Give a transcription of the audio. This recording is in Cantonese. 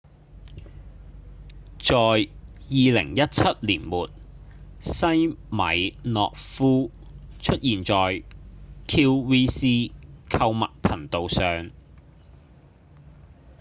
在2017年末西米諾夫出現在 qvc 購物頻道上